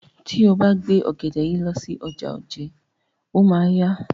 Tí o bá gbé ògèdè yìí lọ sí ọjà Ojé, o máa a yá.